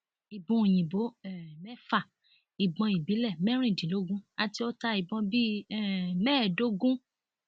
ìbọn òyìnbó um mẹfà ìbọn ìbílẹ mẹrìndínlógún àti ọta ìbọn bíi um mẹẹdógún